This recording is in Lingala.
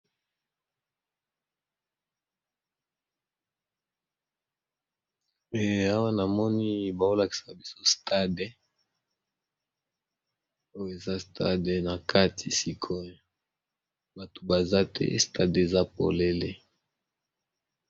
Eh awa namoni bao lakisa biso stade oyo eza stade na kati sikoyo bato baza te, stade eza polele.